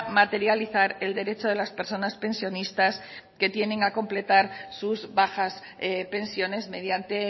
materializar el derecho de las personas pensionistas que tienen a contemplar sus bajas pensiones mediante